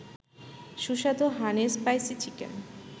সুস্বাদু হানি-স্পাইসি-চিকেন